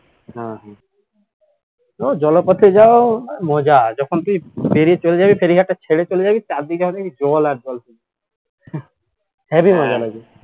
হম হম ও জলপথে যাওয়ার মজা যখন তুই পেরিয়ে চলে যাবি ফেরীঘাটটা ছেড়ে চলে যাবি চারদিকে দেখবি জল আয়ের জল